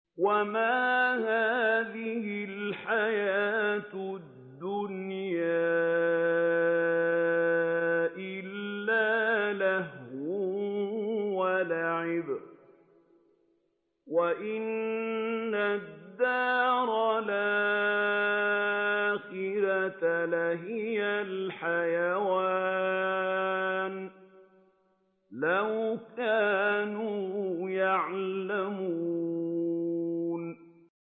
وَمَا هَٰذِهِ الْحَيَاةُ الدُّنْيَا إِلَّا لَهْوٌ وَلَعِبٌ ۚ وَإِنَّ الدَّارَ الْآخِرَةَ لَهِيَ الْحَيَوَانُ ۚ لَوْ كَانُوا يَعْلَمُونَ